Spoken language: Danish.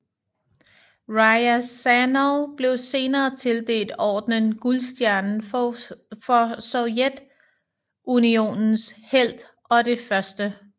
Ryazanov blev senere tildelt ordenen Guldstjernen for Sovjetunionens helt og det 1